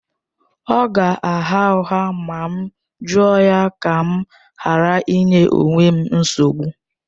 Ọ ga-agha ụgha ma m jụọ ya, ka m ghara ịnye onwe m nsogbu